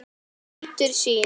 Nýtur sín.